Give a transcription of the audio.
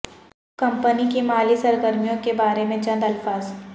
company کی مالی سرگرمیوں کے بارے میں چند الفاظ